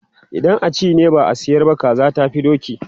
idan a ci ne, ba a sayar ba, kaza tafi doki